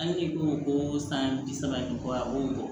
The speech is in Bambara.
Hali n'i ko ko san bi saba ɲɔgɔn a b'o